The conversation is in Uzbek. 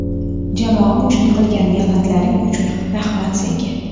Jamoam uchun qilgan mehnatlaring uchun rahmat, senga!